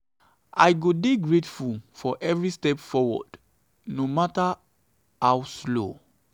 i go dey grateful for every step forward no mata how small. um